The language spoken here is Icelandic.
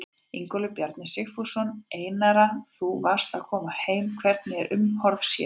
Ingólfur Bjarni Sigfússon: Einara þú varst að koma heim, hvernig er umhorfs hérna?